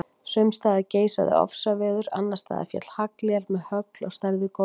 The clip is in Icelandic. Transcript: Sums staðar geisaði ofsaveður, annars staðar féll haglél með högl á stærð við golfkúlur.